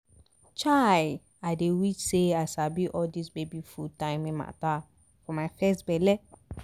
chai! i dey wish say i sabi all dis baby food timing mata for my first belle!